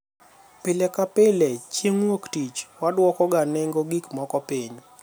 pile ka pile chieng' wuoktich wadwoko ga nengo gik moko piny